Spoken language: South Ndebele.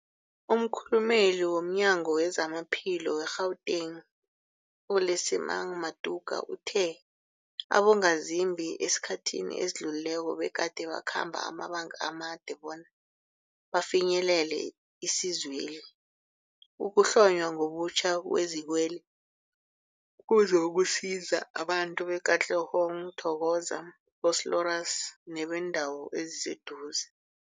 Umkhulumeli womNyango weZamaphilo we-Gauteng, u-Lesemang Matuka uthe abongazimbi esikhathini esidlulileko begade bakhamba amabanga amade bona bafinyelele isizweli. Ukuhlonywa ngobutjha kwezikweli kuzokusiza abantu be-Katlehong, Thokoza, Vosloorus nebeendawo eziseduze.